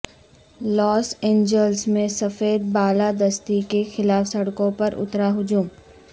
لاس Angeles میں سفید بالادستی کے خلاف سڑکوں پر اترا ہجوم